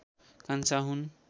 कान्छा हुन्